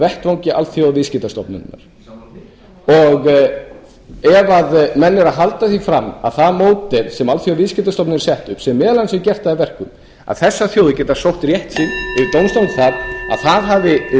vettvangi alþjóðaviðskiptastofnunarinnar ef að menn eru að halda því fram að það módel sem alþjóðaviðskiptastofnunin hefur sett upp sem meðal annars hefur gert það að verkum að þessar þjóðir geta sótt rétt sinn til dómstóla um að það hafi brugðist þá